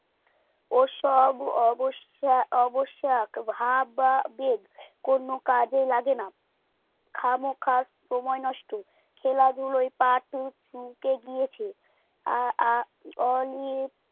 ওসব অবস্হা অবসাদ ভাব বা বেগ কোনো কাজে লাগে না খামোখা সময় নষ্ট খেলাধুলায় part চুকে গিয়াছে আ আ অনেক